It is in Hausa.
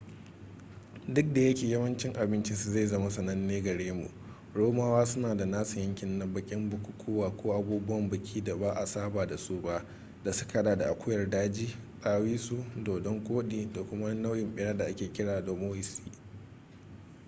duk da yake yawancin abincinsu zai zama sananne gare mu romawa suna da nasu yankin na baƙin bukukuwa ko abubuwan biki da ba a saba da su ba da suka haɗa da akuyar daji dawisu dodon-koɗi da kuma wani nau'in ɓera da ake kira dormousee